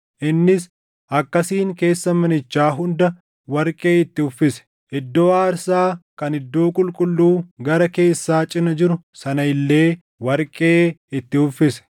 Innis akkasiin keessa manichaa hunda warqee itti uffise. Iddoo aarsaa kan iddoo qulqulluu gara keessaa cina jiru sana illee warqee itti uffise.